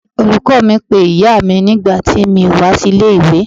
Olùkọ́ọ mi pé ìyáa mi nígbà tí mi ò wá sí ilé ìwé.